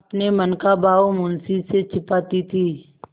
अपने मन का भाव मुंशी से छिपाती थी